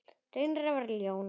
Reynir að vera ljón.